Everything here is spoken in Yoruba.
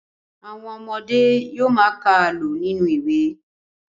Àwọn ọmọdé yóò ma ka àlọ́ nínú ìwé.